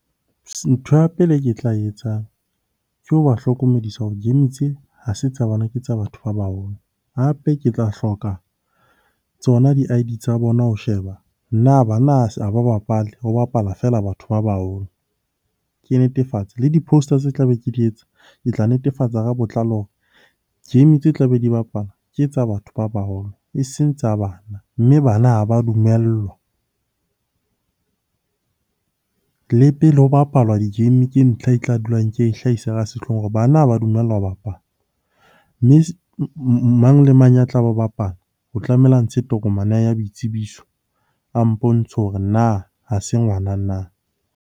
Ntho ya pele e ke tla e etsang ke ho ba hlokomedisa hore game tse ha se tsa bana ke tsa batho ba baholo. Hape ke tla hloka tsona di I_D tsa bona ho sheba na bana ha ba bapale ho bapala feela batho ba baholo? Ke netefatse, le di-poster tse tlabe ke di etsa, ke tla netefatsa ka botlalo hore game tse tlabe di bapala ke tsa batho ba baholo eseng tsa bana, mme bana ha ba dumellwa. Le pele ho bapalwa di-game ke ntlha e tla dulang ke e hlahisa ka sehloohong hore bana ha ba dumellwa ho bapala. Mme mang le mang a tlaba bapala, o tlamehile hore a ntshe tokomane ya hae ya boitsebiso, a mpontshe hore na ha se ngwana na?